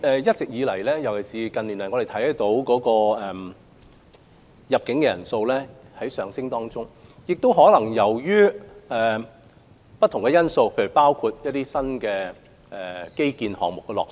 一直以來，尤其是近年，我們看到入境旅客人數上升，這可能是由於不同因素，包括新基建項目落成。